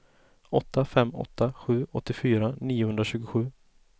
åtta fem åtta sju åttiofyra niohundratjugosju